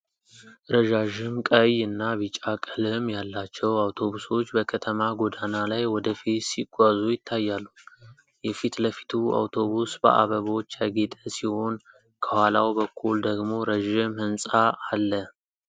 ረዣዥም፣ ቀይ እና ቢጫ ቀለም ያላቸው አውቶቡሶች በከተማ ጎዳና ላይ ወደ ፊት ሲጓዙ ይታያሉ። የፊት ለፊቱ አውቶቡስ በአበቦች ያጌጠ ሲሆን፤ ከኋላው በኩል ደግሞ ረዥም ሕንፃ አለ።